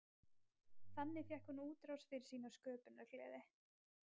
Þannig fékk hún útrás fyrir sína sköpunargleði.